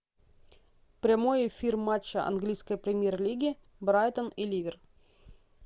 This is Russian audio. прямой эфир матча английской премьер лиги брайтон и ливер